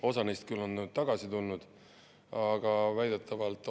Osa neist on küll tagasi tulnud, aga väidetavalt.